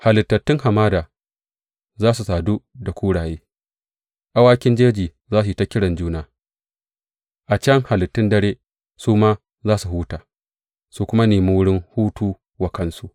Halittun hamada za su sadu da kuraye, awakin jeji za su yi ta kiran juna; a can halittun dare su ma za su huta su kuma nemi wurin hutu wa kansu.